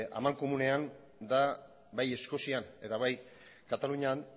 amankomunean da bai eskozian eta bai katalunian